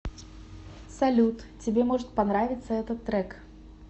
салют тебе может понравиться этот трек